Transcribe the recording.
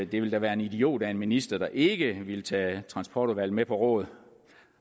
ville være en idiot af en minister der ikke ville tage transportudvalget med på råd